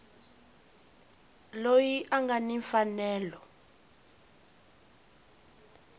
loyi a nga ni mfanelo